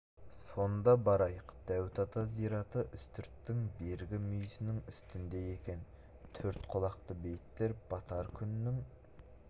сонда барайық дәуіт ата зираты үстірттің бергі бір мүйісінің үстінде екен төрт құлақты бейіттер батар күннің